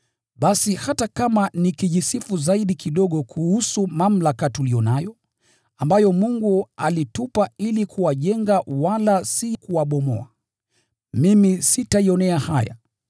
Basi hata kama nikijisifu zaidi kidogo kuhusu mamlaka tuliyo nayo, ambayo Bwana alitupa ili kuwajenga wala si kuwabomoa, mimi sitaionea haya.